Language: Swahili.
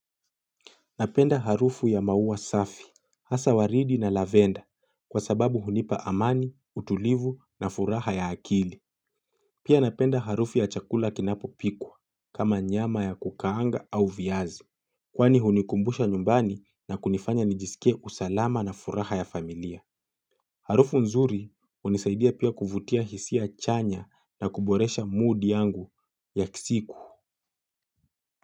Napenda harufu ya maua safi, hasa waridi na lavenda kwa sababu hunipa amani, utulivu na furaha ya akili. Pia napenda harufu ya chakula kinapopikwa kama nyama ya kukaanga au viazi. Kwani hunikumbusha nyumbani na kunifanya nijisikie usalama na furaha ya familia. Harufu nzuri hunisaidia pia kuvutia hisia chanya na kuboresha mood yangu ya siku.